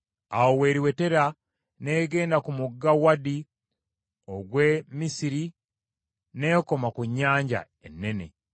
awo w’eriwetera n’egenda ku mugga Wadi ogw’e Misiri n’ekoma ku Nnyanja Ennene.